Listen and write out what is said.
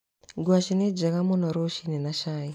Ngwacĩ nĩ njega mũno rũci-inĩ na cai.